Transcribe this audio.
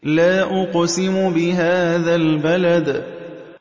لَا أُقْسِمُ بِهَٰذَا الْبَلَدِ